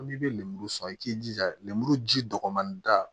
N'i bɛ lemuru sɔrɔ i k'i jija lemuru ji dɔgɔnin da